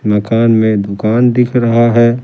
मकान में दुकान दिख रहा है।